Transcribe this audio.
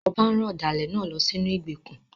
Ọba rán ọ̀dàlẹ̀ náà lọ sínú ìgbèkùn.